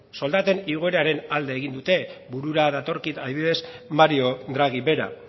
soldaten igoeraren alde egin dute burura datorkit adibidez mario draghi bera